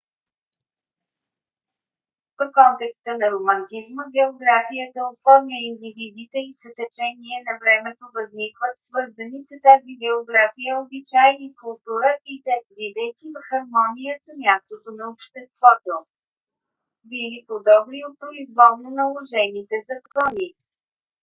в контекста на романтизма географията оформя индивидите и с течение на времето възникват свързани с тази география обичаи и култура и те бидейки в хармония с мястото на обществото били по - добри от произволно наложените закони